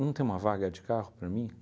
não tem uma vaga de carro para mim?